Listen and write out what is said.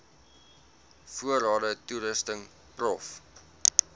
voorrade toerusting prof